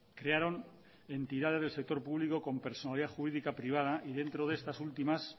crearon entidades del sector público con personalidad jurídica privada y dentro de estas últimas